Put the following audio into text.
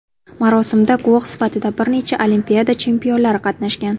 Marosimda guvoh sifatida bir necha Olimpiada chempionlari qatnashgan.